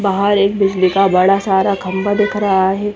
बहार एक बिजली का बड़ा सारा खम्बा दिख रहा है।